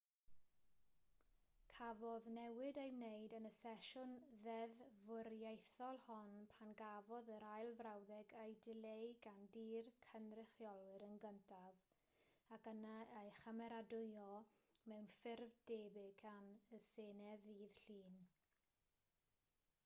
cafodd newid ei wneud yn y sesiwn ddeddfwriaethol hon pan gafodd yr ail frawddeg ei dileu gan dŷ'r cynrychiolwyr yn gyntaf ac yna ei chymeradwyo mewn ffurf debyg gan y senedd ddydd llun